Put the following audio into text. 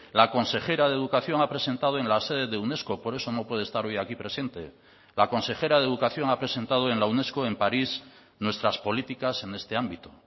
la consejera de educación ha presentado en la sede de unesco por eso no puede estar hoy aquí presente la consejera de educación ha presentado en la unesco en parís nuestras políticas en este ámbito